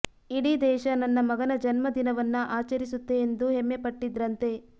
ಇಡೀ ದೇಶ ನನ್ನ ಮಗನ ಜನ್ಮದಿನವನ್ನ ಆಚರಿಸುತ್ತೆ ಎಂದು ಹೆಮ್ಮೆ ಪಟ್ಟಿದ್ರಂತೆ